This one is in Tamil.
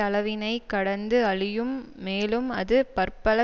அளவினைக் கடந்து அழியும் மேலும் அது பற்பல